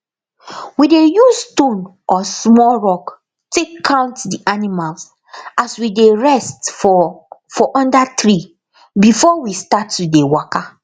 we dey use stone or small rock take count d animals as we dey rest for for under tree before we start to dey waka